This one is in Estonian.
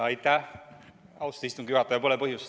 Aitäh, austatud istungi juhataja!